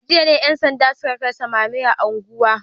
A jiya ne ‘yan sanda suka kai samame a unguwar